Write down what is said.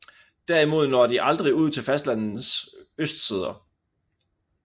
Derimod når de aldrig ud til fastlandenes østsider